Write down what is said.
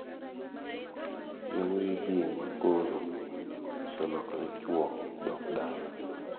Youwuoyigi ma koro oselokre chuo dok dala.